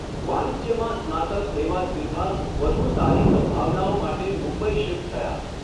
વાણિજ્યમાં સ્નાતક એવા સિન્હા વધુ સારી સંભાવનાઓ માટે મુંબઈ શિફ્ટ થયા.